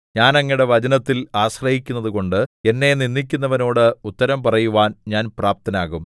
ഞാൻ അങ്ങയുടെ വചനത്തിൽ ആശ്രയിക്കുന്നതുകൊണ്ട് എന്നെ നിന്ദിക്കുന്നവനോട് ഉത്തരം പറയുവാൻ ഞാൻ പ്രാപ്തനാകും